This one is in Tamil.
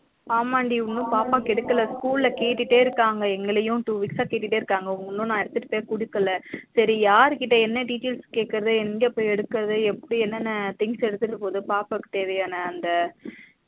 ஆமாண்டி இன்னும் பாப்பாக்கு எடுகல school ல கேட்டுடே இருக்காங்க எங்களையும் two weeks அஹ் கேட்டுடே இருக்காங்க இன்னும் நா எடுத்துட்டு போய் குடுக்கல சரி யாருகிட்ட என்ன details கேக்குறது எங்க போய் எடுக்குறது எப்பிடி என்னன்ன things எடுத்துட்டு போறது பாப்பாக்கு தேவையான அந்த